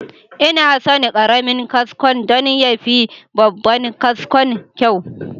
Ina son karamin kaskon don ya fi babban kaskon kyau.